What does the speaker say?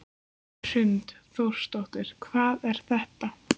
Hrund Þórsdóttir: Hvað er þetta?